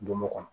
Donmo kɔnɔ